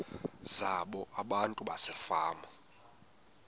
zabo abantu basefama